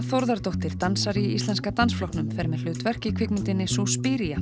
Þórðardóttir dansari í Íslenska dansflokknum fer með hlutverk í kvikmyndinni